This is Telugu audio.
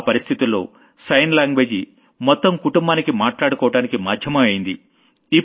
ఆ పరిస్థితుల్లో సైన్ లాంగ్వేజ్ మొత్తం కుటుంబానికి మాట్లాడుకోవడానికి మాధ్యమం అయ్యింది